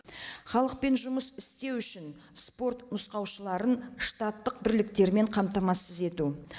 халықпен жұмыс істеу үшін спорт нұсқаушыларын штаттық бірліктермен қамтамасыз ету